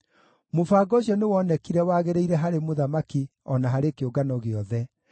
Mũbango ũcio nĩwonekire wagĩrĩire harĩ mũthamaki o na harĩ kĩũngano gĩothe.